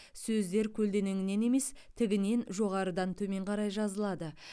сөздер көлденеңнен емес тігінен жоғарыдан төмен қарай жазылады